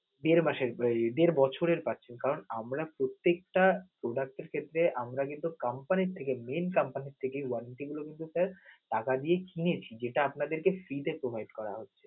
দেড় মাসের উহ দেড় বছরের বাকি কারণ আমরা প্রত্যেকটা product এর ক্ষেত্রে আমরা কিন্তু company থেকে main company থেকে warranty গুলো কিন্তু sir টাকা দিয়ে কিনে নিছি, যেটা আপনাদের free তে provide হচ্ছে.